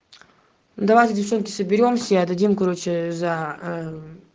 давайте девчонки соберёмся и отдадим короче за ээ